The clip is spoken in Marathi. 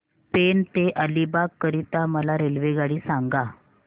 पेण ते अलिबाग करीता मला रेल्वेगाडी सांगा